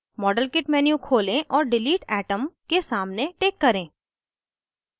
modelkit menu खोलें और delete atom के सामने टिक करें